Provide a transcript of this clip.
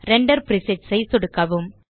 render presets ஐ சொடுக்கவும்